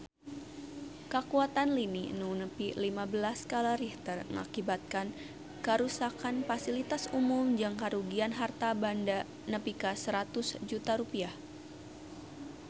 Kakuatan lini nu nepi lima belas skala Richter ngakibatkeun karuksakan pasilitas umum jeung karugian harta banda nepi ka 100 juta rupiah